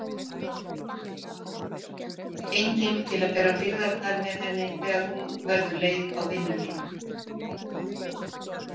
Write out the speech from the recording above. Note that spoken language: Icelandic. Enginn til að bera byrðarnar með henni þegar hún verður leið á vinnunni.